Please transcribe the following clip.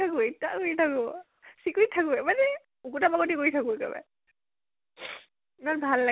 কি যে ইতয়াও কৰি থাকো, ইতয়াও কৰি থাকো। চিকুতী থাকো মানে কৰি থালো একেবাৰে। ইমান ভাল